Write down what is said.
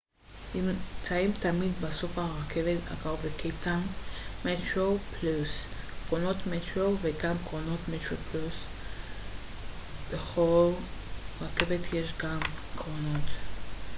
בכל רכבת יש גם קרונות metroplus וגם קרונות metro קרונות metroplus נמצאים תמיד בסוף הרכבת הקרוב לקייפטאון